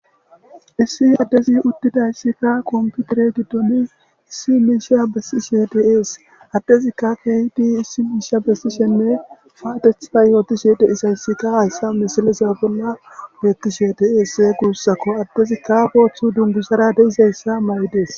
Issi addezi uddidayssikka kompiutere giddoni issi miisha bessi shedeees addezikka kehdi issi miisha bessi shenne paatetha yooti shede isayssikka hayssa misilesa bolla beetti shedee gurussako addezi kaaboththu dungusara deizayssa ma7ides.